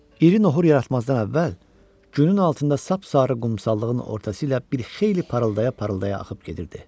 İri nohurlara yatmazdan əvvəl günün altında sap-sarı qumsallığının ortası ilə bir xeyli parıldaya-parıldaya axıb gedirdi.